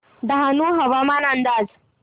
डहाणू हवामान अंदाज